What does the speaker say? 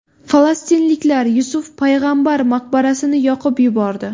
Falastinliklar Yusuf payg‘ambar maqbarasini yoqib yubordi.